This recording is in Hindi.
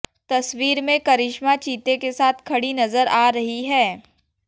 तस्वीर में करिस्मा चीते के साथ खड़ी नजर आ रही हैं